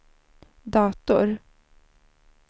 dator